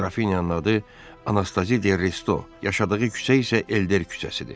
Qrafinyanın adı Anastazide Resto, yaşadığı küçə isə Elder küçəsidir.